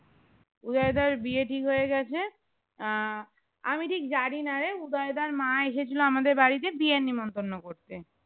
উদয় দার বিয়ে ঠিক হয়ে গেছে আহ আমি ঠিক জানিনারে উদয় দার মা এসে ছিল আমাদের বাড়িতে বিয়ের নিমন্ত্রণ করতে